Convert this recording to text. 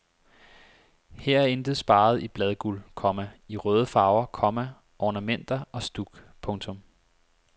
Her er intet sparet i bladguld, komma i røde farver, komma ornamenter og stuk. punktum